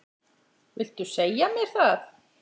Viltu segja mér það?